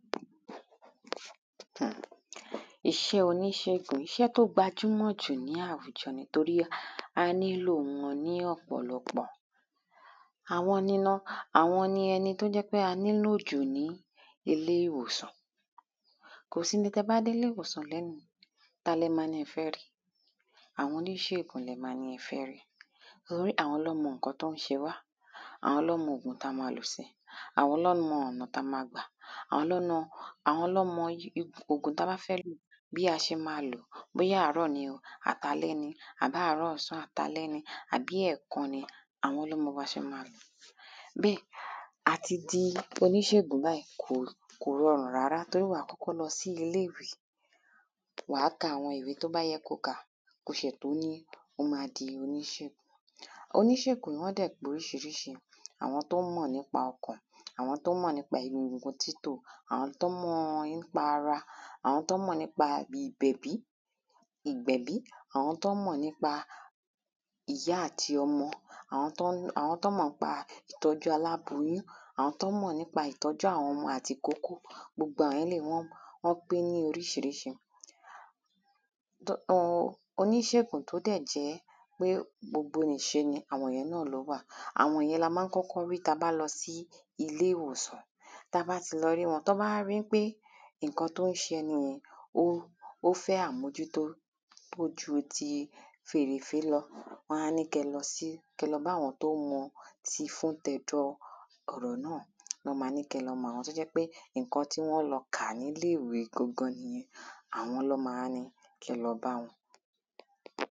iṣẹ́ oníṣègùn iṣẹ́ tó gbajúmọ̀ jù ní àwùjọ ni, torí ẹ̀ a nílo wọn ní ọ̀pọ̀lọpọ̀ àwọn ni ẹni tó jẹ́ pé a nílò jù ní ilé ìwòsàn kò sí ní, tí ẹ bá dé ilé ìwòsàn lónìí. Ta ni ẹ máa ní ẹ fẹ́ rí? Àwọn oníṣègùn ni ẹ máa ní ẹ fẹ́ rí. torí àwọn ni wọ́n mọ ǹkan tó ń ṣe wá, àwọn lọ́ mọ òògùn tí a máa lò sí, àwọn lọ́ mọ ọ̀nà tí a máa gbà. Àwọn lọ́ mọ gbogbo òògùn tí a bá fẹ́ lò bí a ṣe máa lòó, bóyá àárọ̀ ni àbí alẹ́ ni, àbí àárọ̀, ọ̀sán àti àlẹ́ ni, bí ẹ̀ẹ̀kan ní, àwọn ló máa sọ bí a ṣe máa máa lò ó. bẹ́ẹ̀ àti di oníṣègùn báyìí kò rọrùn rárá, torí wàá kọ́kọ́ lọ sí ilé-ìwé, wàá ka àwọn ìwé tó bá yẹ kí o kà ko ṣẹ̀ tó ní ó máa di oníṣègùn. Oníṣègùn náà dẹ̀ pé oríṣiríṣi, àwọn tó mọ̀ nípa ọkàn, àwọn tó mọ̀ nípa egun títò àwọn tó mọ̀ nípa ara, àwọn tó mọ̀ nípa ìgbẹ̀bí àwọn tó mọ̀ nípa ìyá àti ọmọ, àwọn tó mọ̀ nípa ìtọ́jú aláboyún, àwọn tó mọ̀ nípa àwọn ọmọ àti ìkókó, gbogbo àwọn eléyìí wọ́n pé ní oríṣiríṣi. Oníṣègùn tó dẹ̀ jẹ́ pé gbogbo nìṣe ni àwọn ìyẹn náà wà Àwọn ìyẹn là máa ń kọ́kọ́ rí ta bá lọ ilé ìwòsàn, ta bá lọ rí wọn, tọ́ bá wá ríi pé ǹkan tó ń ṣe ẹni yẹn ó ń fẹ́ àmójútó tó ju fèrèfèé lọ. Wọ́n á ní kí ẹ lọ bá àwọn tó mọ tìfun tẹ̀dọ̀ ọ̀rọ̀ náà, lọ́ máa ní kí ẹ lọ mọ̀. àwọn tó jẹ́ pé ǹkan tí wọ́n lọ kà ní ilé ìwé gangan nìyẹn, àwọn lọ́ máa ní kí ẹ lọ bá.